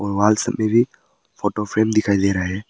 Wall सब में भी फोटो फ्रेम दिखाई दे रहा है।